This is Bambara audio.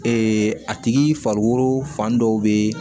a tigi farikolo fan dɔ bɛ